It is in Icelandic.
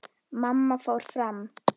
Mamma fór fram.